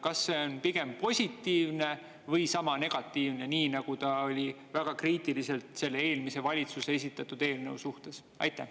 Kas see on pigem positiivne või sama negatiivne, nii nagu ta oli väga kriitiliselt selle eelmise valitsuse esitatud eelnõu suhtes?